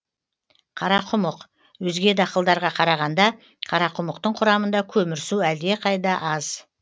қарақұмық өзге дақылдарға қарағанда қарақұмықтың құрамында көмірсу әлдеқайда аз